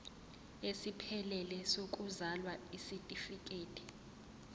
esiphelele sokuzalwa isitifikedi